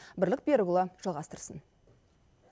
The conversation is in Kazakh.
бірлік берікұлы жалғастырсын